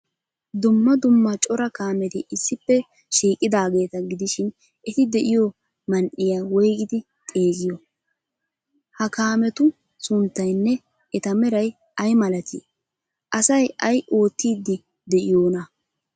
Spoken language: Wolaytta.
Dumma dumma cora kaameti issippe shiiqidaageeta gidishin, eti de'iyo man''iya woygidi xeegeiyoo? Ha kaametu sunttaynne eta meray ay malatii? Asay ay oottiiddi de'iyoonaa?